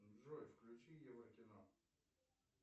джой включи евро кино